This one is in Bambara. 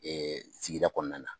sigida kɔnɔna na.